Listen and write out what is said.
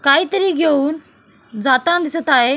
काहीतरी घेऊन जाताना दिसत आहे.